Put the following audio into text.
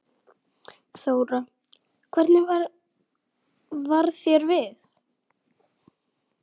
Þóra: Hvernig varð þér við?